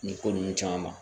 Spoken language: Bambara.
Nin ko ninnu caman ma